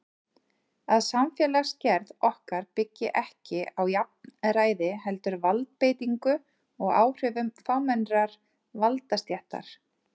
Að samfélagsgerð okkar byggi ekki á jafnræði heldur valdbeitingu og áhrifum fámennrar valdastéttar.